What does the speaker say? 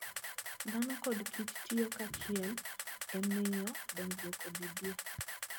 Dhano kod kich tiyo kanyachiel e miyo dongruok obedie.